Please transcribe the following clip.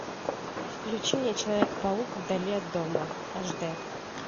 включи мне человек паук вдали от дома аш дэ